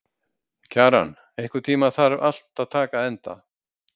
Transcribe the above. Kjaran, einhvern tímann þarf allt að taka enda.